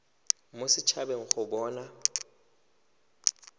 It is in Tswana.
mo set habeng go bona